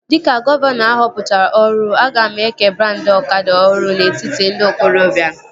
Dịka gọvanọ ahọpụtara ọhụrụ, aga m eke brandị ọkada ọhụrụ n'etiti ndị okorobia